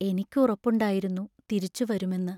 എനിക്കുറപ്പുണ്ടായിരുന്നു തിരിച്ചു വരുമെന്ന്.